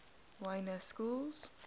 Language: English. y na schools